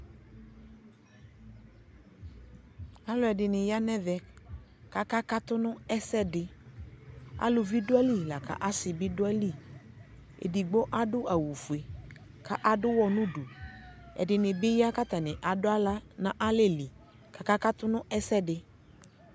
Alʋɛdini ya nʋ ɛvɛ kʋ akakatʋ nʋ ɛsɛdi Alʋvi dʋ ayili lakʋ asi bi dʋ ayili Ɛdigbo adʋ awʋ fue kʋ adʋ ʋwɔ nɛ du Ɛdini bi ya kʋ atani adʋ aɣla n'alɛli kaka katʋ n'ɛsɛdi